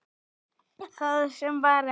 Það sem var er ekki.